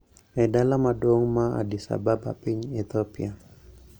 E dala maduong` ma Addis Ababa piny Ethiopia